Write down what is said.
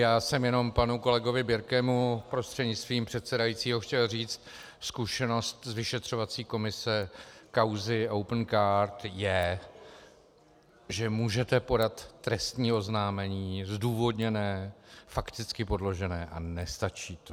Já jsem jenom panu kolegovi Birkemu prostřednictvím předsedajícího chtěl říct: Zkušenost z vyšetřovací komise kauzy Opencard je, že můžete podat trestní oznámení - zdůvodněné, fakticky podložené - a nestačí to.